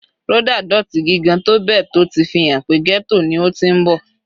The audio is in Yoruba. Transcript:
Rhoda dótì gigigan tó bẹ́ẹ̀ tó ti fi hàn pé ghetto ni ó ti ń bọ̀.